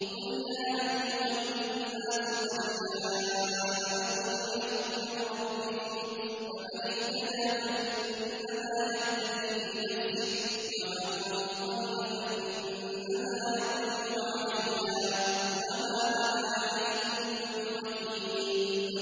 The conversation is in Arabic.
قُلْ يَا أَيُّهَا النَّاسُ قَدْ جَاءَكُمُ الْحَقُّ مِن رَّبِّكُمْ ۖ فَمَنِ اهْتَدَىٰ فَإِنَّمَا يَهْتَدِي لِنَفْسِهِ ۖ وَمَن ضَلَّ فَإِنَّمَا يَضِلُّ عَلَيْهَا ۖ وَمَا أَنَا عَلَيْكُم بِوَكِيلٍ